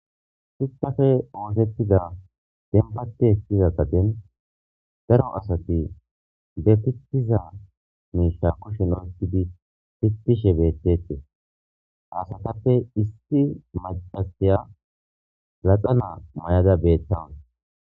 shuchaafe oosettida denbate ekiza qaden daro asati de pitiza miisha kushen oyikidi fitishe beethtetee ha asatappe issi macasiya laxanaa mayada beettawas